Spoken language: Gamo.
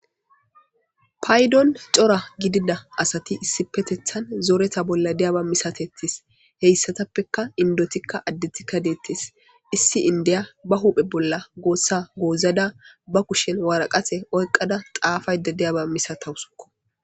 Paydon cora gidiya asati issipe shiqidi zoretha bola diyaba masates heysatapeka indetika adetika detes istape issi indiya ba huphe bola gosa gozada ba kushen waraqata oyqada xaafiyaba masatawuseko